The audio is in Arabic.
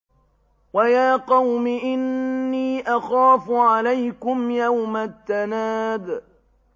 وَيَا قَوْمِ إِنِّي أَخَافُ عَلَيْكُمْ يَوْمَ التَّنَادِ